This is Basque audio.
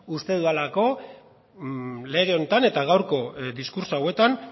uste dudalako lege honetan eta gaurko diskurtso hauetan